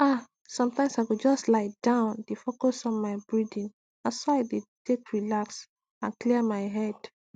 ah sometimes i go just lie down dey focus on my breathingna so i dey take relax and clear my head